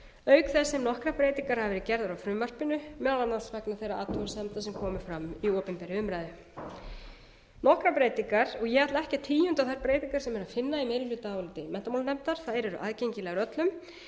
auk þess sem nokkrar breytingar hafa verið gerðar á frumvarpinu meðal annars vegna þeirra athugasemda sem komu fram í opinberri umræðu lokabreytingar og ég ætla ekki að tíunda þær breytingar sem er að finna í meirihlutaáliti menntamálanefndar þær eru aðgengilegar öllum